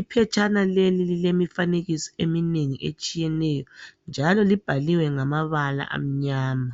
Iphetshana leli lilemifanekiso eminengi etshiyeneyo njalo libhaliwe ngamabala amnyama.